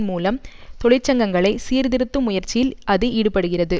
மூலம் தொழிற்சங்கங்களை சீர்திருத்தும் முயற்சியில் அது ஈடுபடுகிறது